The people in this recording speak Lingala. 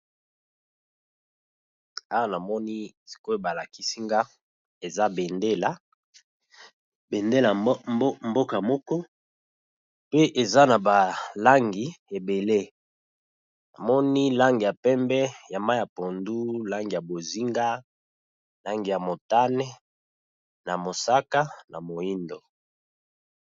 Awa na moni sikoyo ba lakisi nga eza bendele ya mboka moko pe eza na ba langi ébélé. . Na moni langi ya pembe ya mayi ya pondu, langi ya bozinga langi ya motane na mosaka na moyindo .